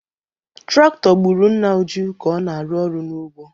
Traktọ gburu nna Uju ka ọ na-arụ ọrụ n’ugbo.